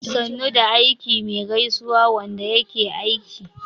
"sannu da aiki" me gaisuwan Wanda yake aiki